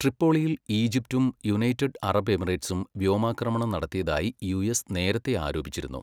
ട്രിപ്പോളിയിൽ ഈജിപ്തും United Arab എമിറേറ്റ്സും വ്യോമാക്രമണം നടത്തിയതായി യുഎസ് നേരത്തെ ആരോപിച്ചിരുന്നു.